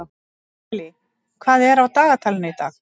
Natalie, hvað er á dagatalinu í dag?